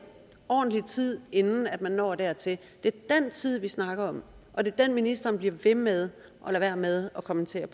ordentlig tid inden man når dertil det er den tid vi snakker om og det er det ministeren bliver ved med at lade være med at kommentere